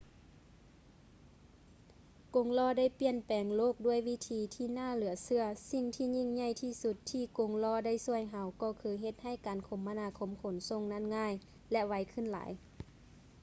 ກົງລໍ້ໄດ້ປ່ຽນແປງໂລກດ້ວຍວິທີທີ່ໜ້າເຫຼືອເຊື່ອ ສິ່ງທີ່ຍິ່ງໃຫຍ່ທີ່ສຸດທີ່ກົງລໍ້ໄດ້ຊ່ວຍເຮົາກໍຄືເຮັດໃຫ້ການຄົມມະນາຄົມຂົນສົ່ງນັ້ນງ່າຍ ແລະ ໄວຂຶ້ນຫຼາຍ